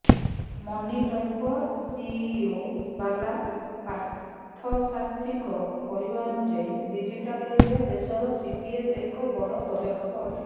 ମନିଟୈପର CEO Bala ପାର୍ଥସାର୍ଥୀଙ୍କ କହିବା ଅନୁଯାୟୀ ଡିଜିଟାଲ ଇଣ୍ଡିଆ ଦେଶରେ ସିଟିଏସ୍ ଏକ ବଡ଼ ପଦକ୍ଷେ ଅଟେ